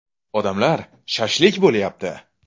Odamlar “shashlik” bo‘lyapti.